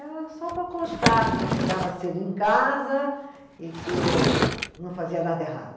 Era só para constar que eu chegava cedo em casa e que não fazia nada errado.